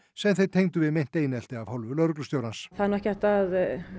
sem þeir tengdu við einelti af hálfu lögreglustjórans það er nú kannski ekki hægt að